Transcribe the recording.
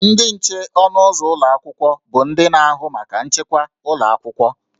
Ndị nche ọnụ ụzọ ụlọ akwụkwọ bụ ndị na-ahụ maka nchekwa ụlọ akwụkwọ